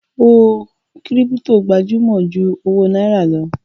Owó kírípítò gbajúmọ̀ ju owó náírà lọ.